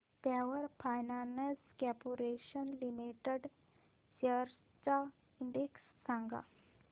power finance corporation limited shares चा index सांगा